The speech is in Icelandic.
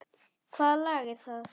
Hvaða lag er það?